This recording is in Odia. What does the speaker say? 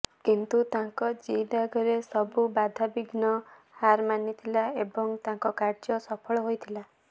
କିନ୍ତୁ ତାଙ୍କ ଜିଦ୍ ଆଗରେ ସବୁ ବାଧାବିଘ୍ନ ହାର ମାନିଥିଲା ଏବଂ ତାଙ୍କ କାର୍ଯ୍ୟ ସଫଳ ହୋଇଥିଲା